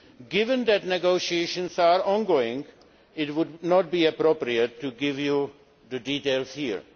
Given that negotiations are ongoing, it would not be appropriate to give you the details here.